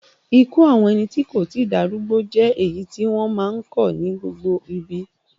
Ikú àwọn ẹni tí kò tí darúgbó jẹ́ èyí tí wọ́n máa ń kọ̀ ní gbogbo ibi.